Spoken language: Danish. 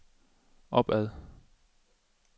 opad